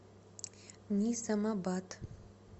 низамабад